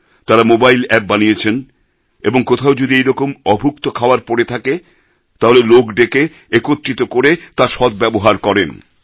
তাঁরা mobile app বানিয়েছেন এবং কোথাও যদি এরকম অভুক্ত খাওয়ার পড়ে থাকে তাহলে লোক ডেকে একত্রিত করে তার সদ্ব্যবহার করেন